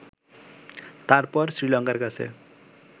তারপর শ্রীলঙ্কার কাছে